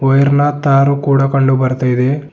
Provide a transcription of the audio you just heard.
ಮಹಿರ್ನಾ ತಾರು ಕೂಡ ಕಂಡು ಬರ್ತಾಯಿದೆ.